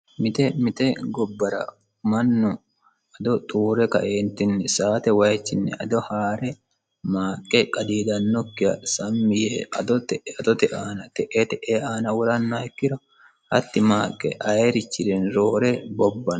mite mite gobbara mannu ado xuure ka"eentinni saate wayichinni ado haa're maaqqe qadiidannokkiha sammi yee ado te"ee adote aana te"ee te"ee aana worannoha ikkiro hatti maaqqe ayirichirinni roore bobbanno